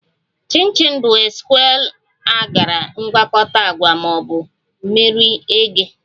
Chin chin bụ a square ekara mgwakota agwa na bụ miri eghe